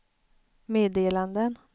meddelanden